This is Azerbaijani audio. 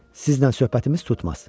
Sizlə söhbətimiz tutmaz.